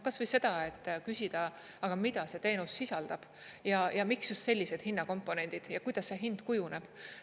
Kas või seda, et küsida, aga mida see teenus sisaldab ja miks just sellised hinnakomponendid, kuidas see hind kujuneb.